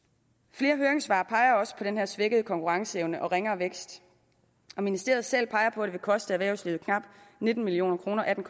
flere høringssvar peger også på den her svækkede konkurrenceevne og ringere vækst ministeriet selv peger på at det vil koste erhvervslivet knap nitten million kroner atten